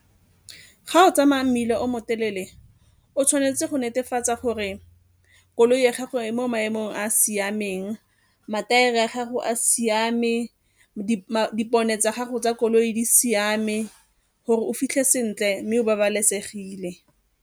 Ga o tsamaya mmila o mo telele o tshwanetse go netefatsa gore koloi ya gago e mo maemong a a siameng, mathaere a gago a siame, dipone tsa gago tsa koloi di siame gore o fitlhe sentle mme o babalesegile.